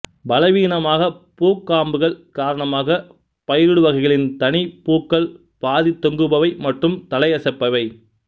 பலவீனமான பூக்காம்புகள் காரணமாக பயிருடு வகைகளின் தனி பூக்கள் பாதி தொங்குபவை மற்றும் தலையசைப்பவை